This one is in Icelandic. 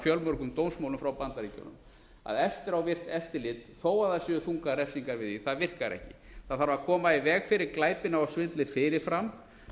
fjölmörgum dómsmálum frá bandaríkjunum að eftirávirkt eftirlit þó það séu þungar lýsingar við því það virkar ekki það þarf að koma í veg fyrir glæpina og sullið fyrirfram